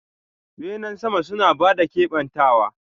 Benen sama suna ba da kebantawa.